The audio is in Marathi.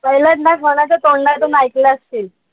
पहिल्यांदा कोणाच्या तोंडातून एकला असशील.